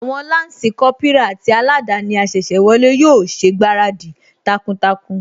Àwọn Lansi Kópírà àti aladani asese wọlé yóò ṣègbáradì takuntakun